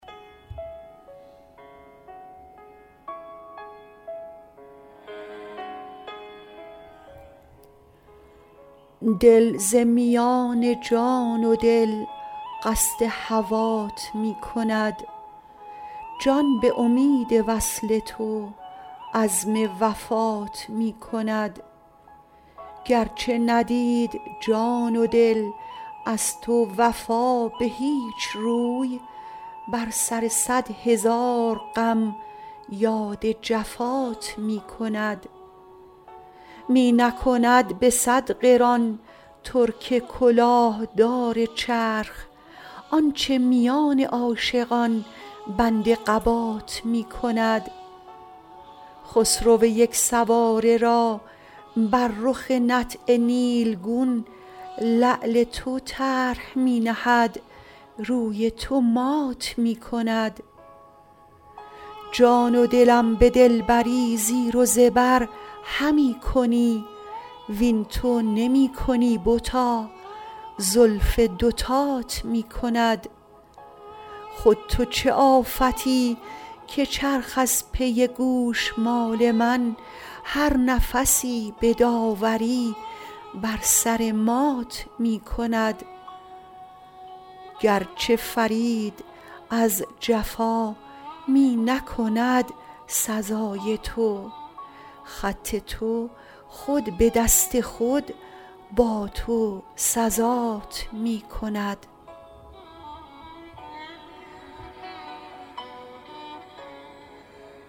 دل ز میان جان و دل قصد هوات می کند جان به امید وصل تو عزم وفات می کند گرچه ندید جان و دل از تو وفا به هیچ روی بر سر صد هزار غم یاد جفات می کند می نکند به صد قران ترک کلاه دار چرخ آنچه میان عاشقان بند قبات می کند خسرو یک سواره را بر رخ نطع نیلگون لعل تو طرح می نهد روی تو مات می کند جان و دلم به دلبری زیر و زبر همی کنی وین تو نمی کنی بتا زلف دوتات می کند خود تو چه آفتی که چرخ از پی گوشمال من هر نفسی به داوری بر سر مات می کند گرچه فرید از جفا می نکند سزای تو خط تو خود به دست خود با تو سزات می کند